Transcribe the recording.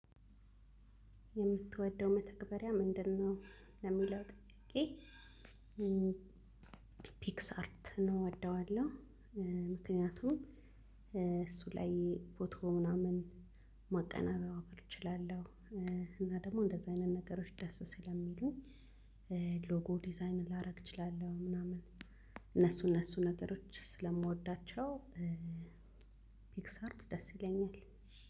የምትወደው መተግበሪያ ምንድንነው? ለሚለው ጥያቄ ፒክስ አርትን እወደዋለሁ። ምክንያቱም እሱ ላይ ፎቶ ምናምን ማቀነባበር እችላለሁ። እና ደግሞ እንደዚህ አይነት ነገሮች ደስ ስለሚሉኝ። ሎጎ ዲዛይን ላደርግ እችላለሁ ምናምን እነሱ እነሱ ነገሮች ስለምወዳቸው። ፒክስአርት ደስ ይለኛል።